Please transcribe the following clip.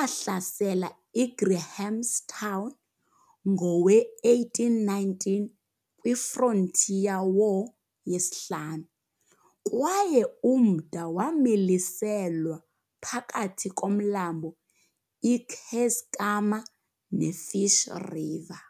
ahlasele iGrahamstown ngowe1819, kwi frontier war yesihlanu, kwaye umda wamiliselwa phakathi komlambo iKeiskamma ne Fish river.